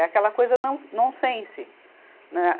É aquela coisa não, non-sense. na